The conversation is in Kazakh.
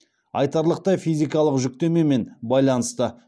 айтарлықтай физикалық жүктемемен байланысты